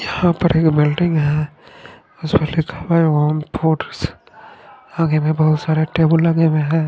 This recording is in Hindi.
यहाँ पर एक बिल्डिंग है उसपे लिखा हुआ है आगे मे बहुत सारे टेबल लगे हुए है।